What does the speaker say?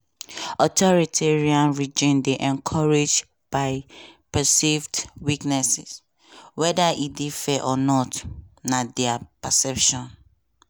"authoritarian regimes dey encouraged by perceived weakness weda e dey fair or not – na dia perception.